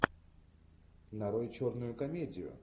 нарой черную комедию